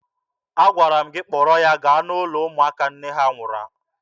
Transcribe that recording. Agwara m gị kpọrọ ya gaa n'ụlọ ụmụaka nne ha nwụrụ!